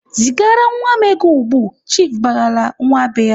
"Zigara nwa m ego ugbu!"Chiifu barala nwa be ya.